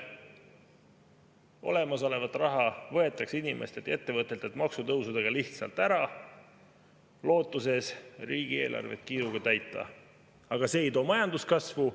Olemasolevat raha võetakse inimestelt ja ettevõtetelt maksutõusudega lihtsalt ära lootuses riigieelarvet kiiruga täita, aga see ei too majanduskasvu.